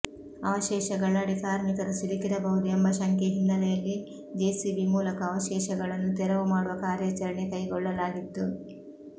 ಅವಶೇಷಗಳಡಿ ಕಾರ್ಮಿಕರು ಸಿಲುಕಿರಬಹುದು ಎಂಬ ಶಂಕೆ ಹಿನ್ನಲೆಯಲ್ಲಿ ಜೆಸಿಬಿ ಮೂಲಕ ಅವಶೇಷಗಳನ್ನು ತೆರವು ಮಾಡುವ ಕಾರ್ಯಾಚರಣೆ ಕೈಗೊಳ್ಳಲಾಗಿತ್ತು